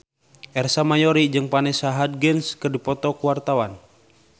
Ersa Mayori jeung Vanessa Hudgens keur dipoto ku wartawan